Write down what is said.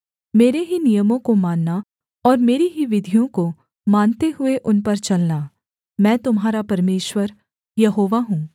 मेरे ही नियमों को मानना और मेरी ही विधियों को मानते हुए उन पर चलना मैं तुम्हारा परमेश्वर यहोवा हूँ